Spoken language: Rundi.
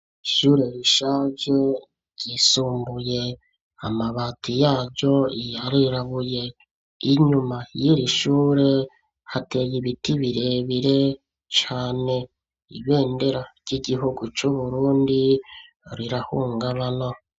Ishure rishaje, ryisumbuye; amabati yaryo, yarirabuye; inyuma y'iri shure, hateye ibiti, birebire cane; ibendera ry'igihugu c'Uburundi, rirahungabana.